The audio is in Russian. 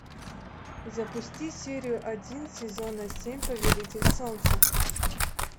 запусти серию один сезона семь повелитель солнца